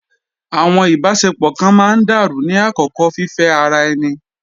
Àwọn ìbáṣepọ̀ kan máa ń dàrú ní àkókò fífẹ́ ara ẹni.